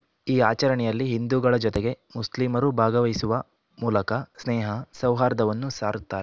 ಈ ಆಚರಣೆಯಲ್ಲಿ ಹಿಂದುಗಳ ಜೊತೆಗೆ ಮುಸ್ಲಿಮರೂ ಭಾಗವಹಿಸುವ ಮೂಲಕ ಸ್ನೇಹ ಸೌಹಾರ್ದವನ್ನು ಸಾರುತ್ತಾರೆ